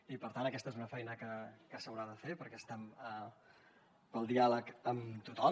i per tant aquesta és una feina que s’haurà de fer perquè estem pel diàleg amb tothom